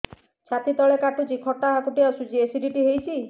ଛାତି ତଳେ କାଟୁଚି ଖଟା ହାକୁଟି ଆସୁଚି ଏସିଡିଟି ହେଇଚି